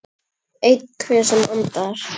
Einhver sem andar.